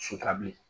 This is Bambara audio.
bilen